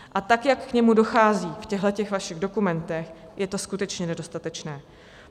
A tak jak k němu dochází v těchto vašich dokumentech, je to skutečně nedostatečné.